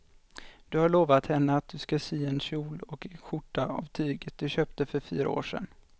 Du har lovat henne att du ska sy en kjol och skjorta av tyget du köpte för fyra år sedan.